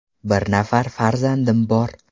Bir nafar farzandim bor.